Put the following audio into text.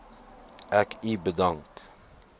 ek u bedank